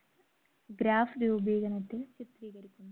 graph രൂപീകരണത്തിൽ